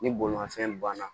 Ni bolimanfɛn banna